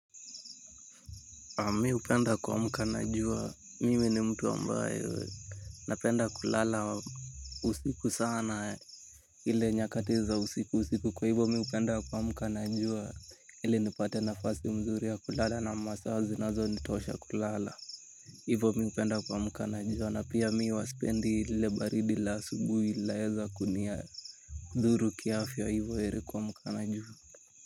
Mi upenda kuamka najua, mimi ni mtu ambayo, napenda kulala usiku sana. Ile nyakati za usiku usiku kwa hivo mi upenda kuamka na jua, ili nipate nafasi mzuri ya kulala na masaa zinazonitosha kulala. Hivo mi upenda kuamka na jua, na pia mi huwa spendi lile baridi la asubuhi laeza kunia. Dhuru kiafya hivo eri kuamka na jua.